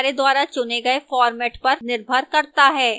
यह हमारे द्वारा चुने गए format पर निर्भर करता है